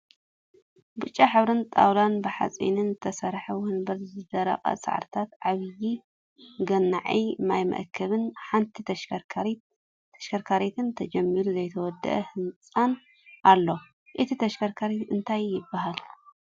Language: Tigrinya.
ብጫ ሕብርን ጣውላን ብሓፂንን ዝተሰረሐ ወንበርንዘደረቀ ሳዕርታት ዓቢይ ገኒዒ ማይ መአከቢን ሓንቲ ተሽከርካሪትን ተጀሚሩ ዘይተወደአ ህንፃን ኣሎ። እታ ተሽከርካሪት እንታይ ትብሃል